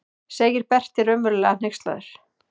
segir Berti raunverulega hneykslaður.